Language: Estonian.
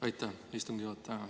Aitäh, istungi juhataja!